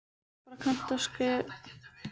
Barbara, kanntu að spila lagið „Gaukur í klukku“?